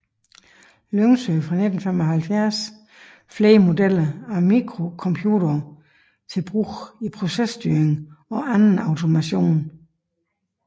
Lyngsø fra 1975 flere modeller af mikrocomputere til brug i processtyring og anden automation